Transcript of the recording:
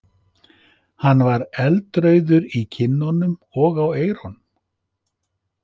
Hann var eldrauður í kinnunum og á eyrunum.